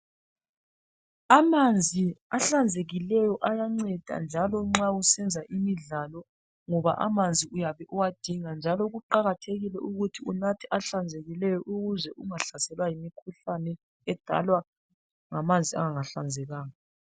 Amanzi ahlanzekileyo ayanceda njalo nxa usenza imidlalo ngoba amanzi uyabe uwadinga njalo kuqakathekile ukuthi unathe ahlanzekileyo ukuze ungahlaselwa yimikhuhlane edalwa ngamanzi angahlanzekanga.